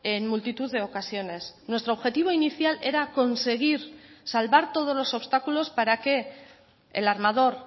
en multitud de ocasiones nuestro objetivo inicial era conseguir salvar todos los obstáculos para que el armador